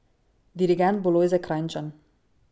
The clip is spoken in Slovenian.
Dirigent bo Lojze Krajnčan.